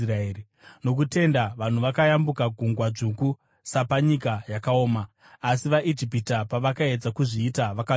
Nokutenda vanhu vakayambuka Gungwa Dzvuku, sapanyika yakaoma; asi vaIjipita pavakaedza kuzviita vakanyura.